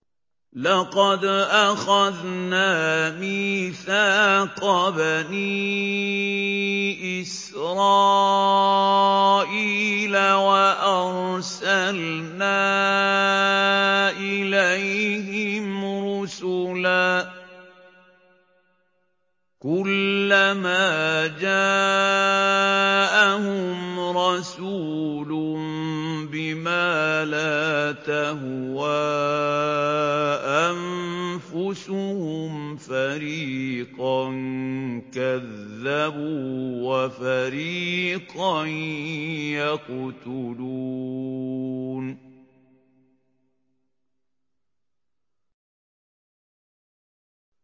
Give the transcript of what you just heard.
لَقَدْ أَخَذْنَا مِيثَاقَ بَنِي إِسْرَائِيلَ وَأَرْسَلْنَا إِلَيْهِمْ رُسُلًا ۖ كُلَّمَا جَاءَهُمْ رَسُولٌ بِمَا لَا تَهْوَىٰ أَنفُسُهُمْ فَرِيقًا كَذَّبُوا وَفَرِيقًا يَقْتُلُونَ